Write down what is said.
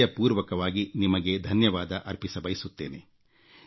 ಹೃದಯಪೂರ್ವಕವಾಗಿ ನಿಮಗೆ ಧನ್ಯವಾದ ಅರ್ಪಿಸಬಯಸುತ್ತೇನೆ